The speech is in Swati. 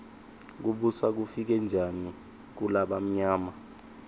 kubusa kufike njani kulabamyama